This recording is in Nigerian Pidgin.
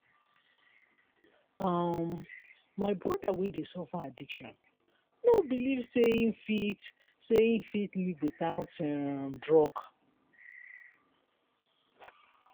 um my broda wey dey suffer addiction no beliv sey him fit sey him fit live witout um drug.